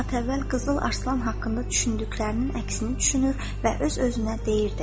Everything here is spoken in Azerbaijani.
O bir saat əvvəl Qızıl Arslan haqqında düşündüklərinin əksini düşünür və öz-özünə deyirdi: